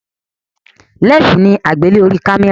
lẹnsi ni agbele orí kámẹ́rà